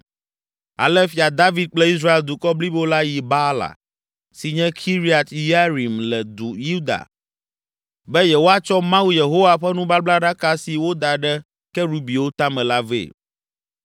Ale Fia David kple Israel dukɔ blibo la yi Baala, si nye Kiriat Yearim le Yuda be yewoatsɔ Mawu Yehowa ƒe nubablaɖaka si woda ɖe kerubiwo tame la vɛ.